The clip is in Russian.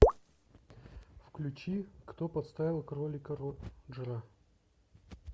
включи кто подставил кролика роджера